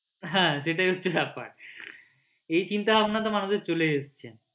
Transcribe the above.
হ্যাঁ সেটাই হচ্ছে ব্যাপার এই চিন্তা ভাবনা তো মানুষের চলেই এসেছে।